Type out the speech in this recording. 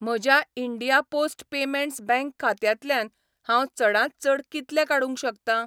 म्हज्या India post payments bank खात्यांतल्यान हांव चडांत चड कितले काडूंक शकतां?